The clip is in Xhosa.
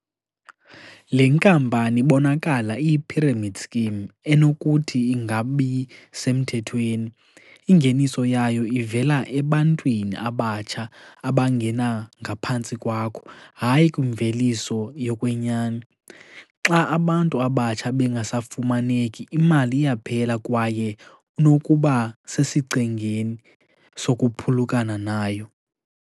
Le nkampani ibonakala iyi-pyramid scheme enokuthi ingabi semthethweni, ingeniso yayo ivela ebantwini abatsha abangena ngaphantsi kwakho, hayi kwimveliso yokwenyani. Xa abantu abatsha bengasafumaneki imali iyaphela kwaye unokuba sesichengeni sokuphulukana nayo.